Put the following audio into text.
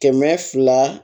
Kɛmɛ fila